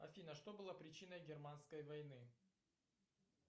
афина что было причиной германской войны